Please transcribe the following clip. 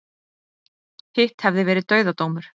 Hitt hefði verið dauðadómur